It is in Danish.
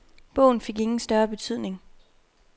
Bogen fik ingen større betydning.